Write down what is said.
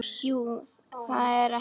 Jú, er það ekki?